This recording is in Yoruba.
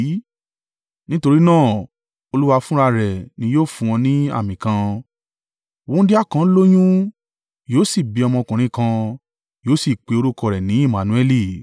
Nítorí náà, Olúwa fúnra ara rẹ̀ ni yóò fún ọ ní àmì kan. Wúńdíá kan yóò lóyún, yóò sì bí ọmọkùnrin kan, yóò sì pe orúkọ rẹ̀ ní Emmanueli.